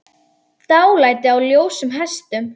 Dálæti á ljósum hestum